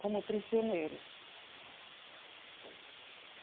Como prisioneiros.